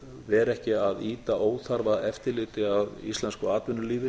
vera ekki að ýta óþarfa eftirliti að íslensku atvinnulífi